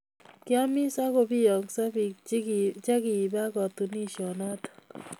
Kiamis ako biongsoo biik chikibaa katuniesiet noto